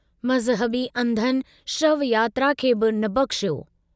मज़हबी अंधनि शव यात्रा खे बि न बख़्शियो।